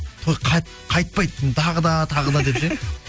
той қайтпайтын тағы да тағы да деп ше